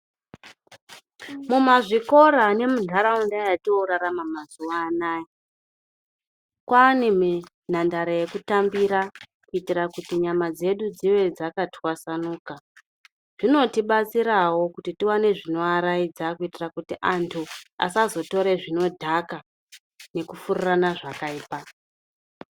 Mumazvikora nemuntaraunda mwetoorarama mazuwa anaa, kwaane nhandare yekutambira kuitira kuti nyama dzedu dzive dzakatwasanuka. Zvinotibatsirawo kuti tiwane zvinoaraidza kuitira kuti antu asazotore zvinodhaka, nekufurirana zvakaipa.